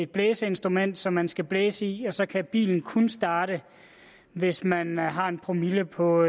blæseinstrument som man skal blæse i og så kan bilen kun starte hvis man har en promille på